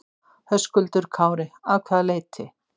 Höskuldur Kári: Að hvaða leyti?